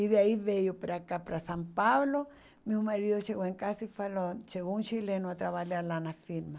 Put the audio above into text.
E daí veio para cá, para São Paulo, meu marido chegou em casa e falou, chegou um chileno a trabalhar lá na firma.